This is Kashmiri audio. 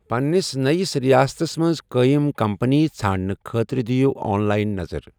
پنٛنِس نٔیِس رِیاتستَس منٛز قٲیِم کمپٔنی ژھانٛڑنہٕ خٲطرٕ دیٖو آن لایِن نظر۔